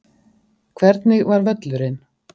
Hvernig var völlurinn?